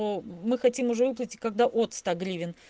но мы хотим уже выплатить когда уже от ста гривен